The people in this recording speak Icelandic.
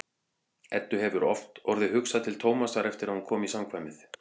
Eddu hefur oft orðið hugsað til Tómasar eftir að hún kom í samkvæmið.